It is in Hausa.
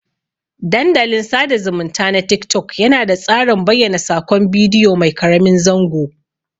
Dandalin sada zumunta na tik-tok yana da tsarin bayyana sakon bidiyo mai karamin zango.